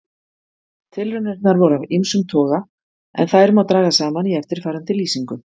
Tilraunirnar voru af ýmsum toga en þær má draga saman í eftirfarandi lýsingu.